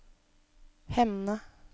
Hemne